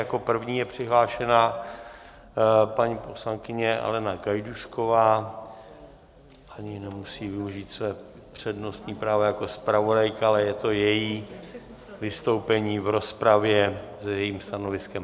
Jako první je přihlášená paní poslankyně Alena Gajdůšková, ani nemusí využít své přednostní právo jako zpravodajka, ale je to její vystoupení v rozpravě s jejím stanoviskem.